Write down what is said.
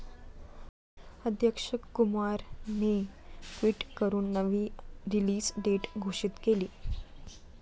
अक्षय कुमारने ट्विट करून नवी रिलीज डेट घोषित केली.